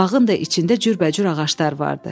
Bağın da içində cürbəcür ağaclar vardı.